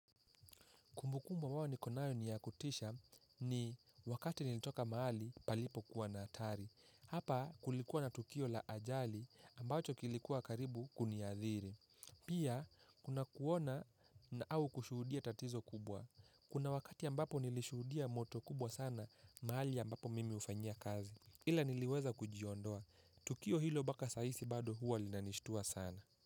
Kumbukumbu ambayo niko nayo niyakutisha ni wakati nilitoka mahali palipo kuwa na hatari. Hapa kulikuwa na tukio la ajali ambacho kilikuwa karibu kuniadhiri. Pia kuna kuona na au kushudia tatizo kubwa. Kuna wakati ambapo nilishudia moto kubwa sana mahali ambapo mimi hufanyia kazi. Ila niliweza kujiondoa. Tukio hilo mpaka saizi bado huwa linanishtua sana.